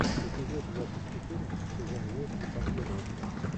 эпизод двадцать четыре сезон восемь последователи